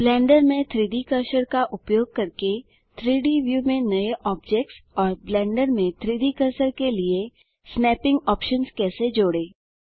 blender में 3डी cursor का उपयोग करके 3डी व्यू में नए ऑब्जेक्ट्स और ब्लेंडर में 3डी कर्सर के लिए स्नैपिंग ऑप्शन्स कैसे जोड़ें